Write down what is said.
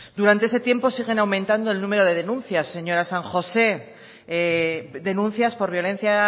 durante ese tiempo siguen aumentando el número de denuncias señora san josé denuncias por violencia